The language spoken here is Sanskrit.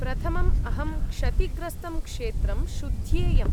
प्रथमं अहं क्षतिग्रस्तं क्षेत्रं शुध्येयम्।